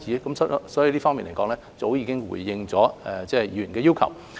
由此可見，我們在這方面早已經回應了議員的要求。